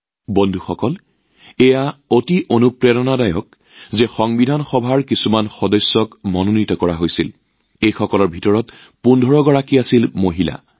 বন্ধুসকল আন এক প্ৰেৰণাদায়ক কথা যে মনোনীত সংবিধান সভাৰ একেখিনি সদস্যৰ ভিতৰত ১৫গৰাকী মহিলা আছিল